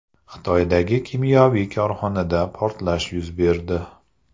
Xitoydagi kimyoviy korxonada portlash yuz berdi.